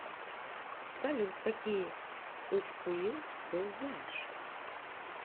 салют какие ыфкуил ты знаешь